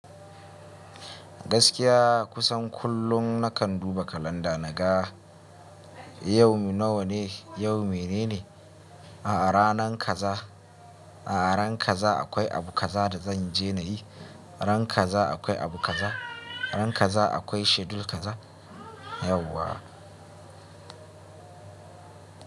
Gaskiya kusan kullum nakan duba kalanda naga yau nawane, yau menene, a'a ranan kaza, a'a ran kaza akwai abu kaza da zanje nayi, ran kaza akwai abu kaza, ran kaza akwai schedule kaza yauwa.